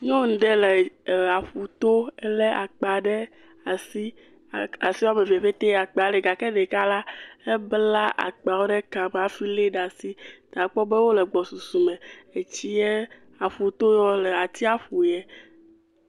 Nyɔnu ɖe le ee aƒuto, ele akpa ɖe asi asi woame eve pete akpa le, gake ɖeka la, ebla akpawo ɖe kame hafi lée ɖe asi, ta akpɔ be wole gbɔsusu me, etsie, aƒuto ye wole atsiaƒu ye.